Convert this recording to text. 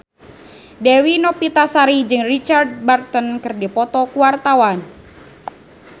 Dewi Novitasari jeung Richard Burton keur dipoto ku wartawan